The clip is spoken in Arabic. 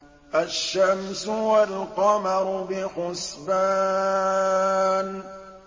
الشَّمْسُ وَالْقَمَرُ بِحُسْبَانٍ